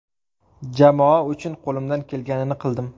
Jamoa uchun qo‘limdan kelganini qildim.